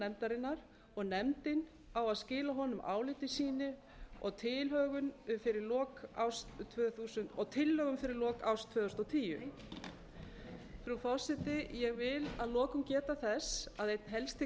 nefndarinnar og nefndin á að skila honum áliti sínu og tillögum fyrir lok árs tvö þúsund og tíu frú forseti ég vil að lokum geta þess að einnhelsti